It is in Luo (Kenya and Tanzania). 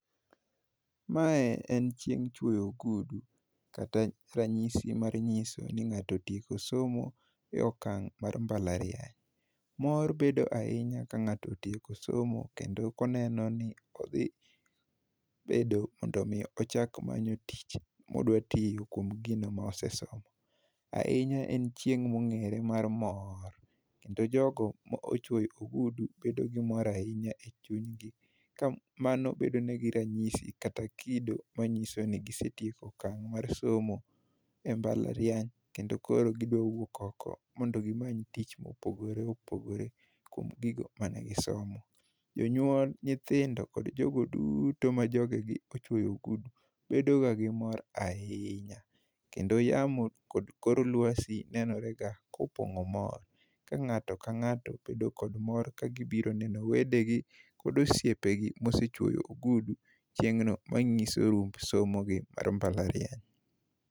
Ma e en chieng chuoyo ogudu kata ranyisi mar nyiso ni ngato otieko somo e okang mar mbala riany mor bedo ahinya ka ngato otieko somo kendo koneno ni odhi bedo mondo mi ochak manyo tich modwa tiyo kuom gino ma osesomo ahinya en chieng ma ongere mar mor kendo jogo ma ochwo ogudu bedo gi mor ahinya e chuny gi ka mano bedo negi ranyisi kata kido ma nyiso ni gi setieko okang mar somo e mbala riany kendo koro gi dwa wuok ok gi many tich ma opogore opogore kuom gigo mane gi somo jo nywol nyithindo kod jo go duto ma joge ochuyo ogudu bedo ga gi mor ahinya kendo yamo kod kor lwasi neno re ga ka opongo mor ka ngato ka ngato bedo kod mor ka biro neno wede gi kod osiepe gi ma osechuoyo ogudu chiengno ma ngiso rumb somo gi e mbala riany